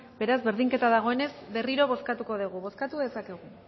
beraz berdinketa dagoenez berriro bozkatuko dugu bozkatu dezakegu